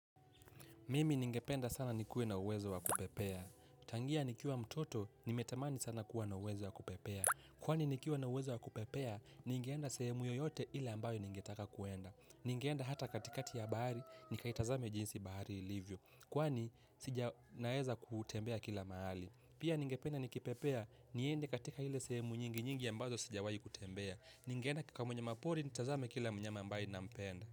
Mimi ningependa sana ni kuwe na uwezo wa kupepea. Tangia nikiwa mtoto, nimetamani sana kuwa na uwezo wa kupepea. Kwani nikiwa na uwezo wa kupepea, ningeenda sehemu yoyote ile ambayo ningetaka kuenda. Ningeenda hata katikati ya bahari, nikaitazame jinsi bahari ilivyo. Kwani, sija naeza kutembea kila mahali. Pia ningependa nikipepea, niende katika ila sehemu nyingi nyingi ambazo sijawahi kutembea. Ningeenda kikao mwa mnyama pori, nitazame kila mnyama ambaye ninampenda.